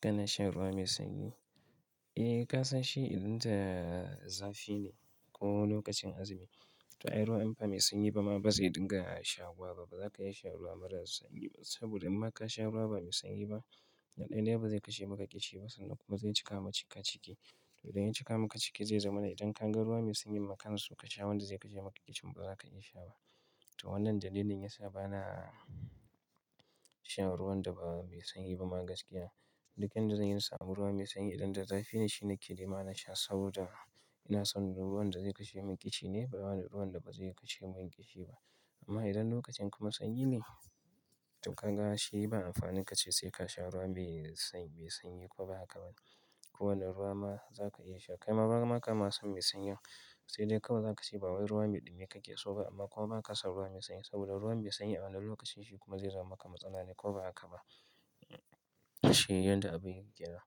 Kana shan ruwa mai sanyi? Eh kasan shi idan da zafi ne ko lokacin azumi. To ai ruwa inba mai sanyi ba ma ba zai dinga shawuwa ba, baza ka iya sha ruwa mara sanyi ba saboda inma ka sha ruwa ba mai sanyi ba, na daya dai bazai kashe ma kishi ba sannan kuma zai cika maka ciki to idan ya cika maka ciki zai zama ne idan ka ga ruwa mai sanyi ma kana so ka sha wanda zai kashe maka ƙishi ba za ka iya sha ba. To wannan dalilin yasa ba na shan ruwan da ba mai sanyi ba ma gaskiya. Duk yanda zan yi in samu ruwa mai sanyi idan da zafi ne shine ke nema na sha saboda ina son ruwan da zai kashe min ƙishi ne bawai ruwan da ba zai kashe min ƙishi ba. Amma idan lokacin kuma sanyi ne, to ka ga shi ba amfanin ka ce sai ka sha ruwa mai sanyi mai sanyi ko ba haka ba ne. Ko wani ruwa ma za ka iya sha. Kai ma ba ma ka ma san mai sanyi. Sai dai kawai za ka ce ba wai ruwa me ɗumi ka ke so ba amma kuma ba ka san ruwa mai sanyi. Saboda ruwan mai sanyi a wannan lokacin shi kuma zai zama maka matsala ne ko ba haka ba. Shi yanda abin yake.